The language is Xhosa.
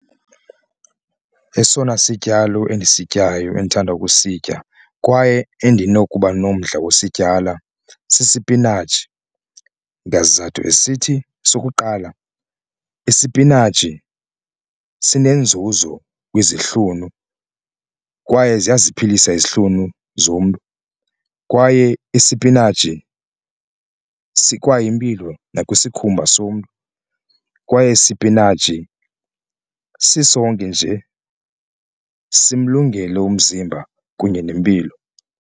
Esona sityalo endisityayo endithanda ukusitya kwaye endinokuba nomdla wokusityala sisipinatshi esithi sukuqala isipinatshi sinenzuzo kwizihlunu kwaye ziyasiphilisa izihlunu zomntu. Kwaye isipinatshi sikwayimpilo nakwisikhumba somntu kwaye isipinatshi sisonke nje simlungele umzimba kunye nempilo.